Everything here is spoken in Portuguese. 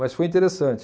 Mas foi interessante.